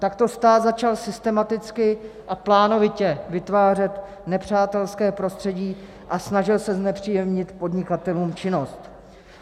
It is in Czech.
Takto stát začal systematicky a plánovitě vytvářet nepřátelské prostředí a snažil se znepříjemnit podnikatelům činnost.